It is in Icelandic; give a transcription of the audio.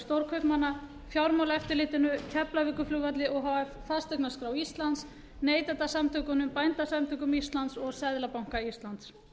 stórkaupmanna fjármálaeftirlitinu keflavíkurflugvelli o h f fasteignaskrá íslands neytendasamtökunum bændasamtökum íslands og seðlabanka íslands